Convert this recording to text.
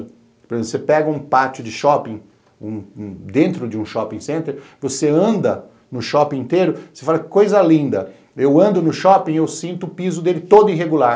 Por exemplo, você pega um pátio de shopping, dentro de um shopping center, você anda no shopping inteiro, você fala que coisa linda, eu ando no shopping e eu sinto o piso dele todo irregular.